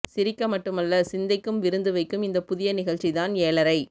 சிரிக்க மட்டுமல்ல சிந்தைக்கும் விருந்து வைக்கும் இந்த புதிய நிகழ்ச்சி தான் ஏழரை